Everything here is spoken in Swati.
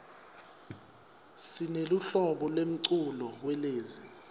sineluhlobo lemculo welezi